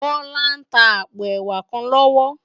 Bola n tá àpó èwá kán lòwò